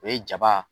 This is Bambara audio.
O ye jaba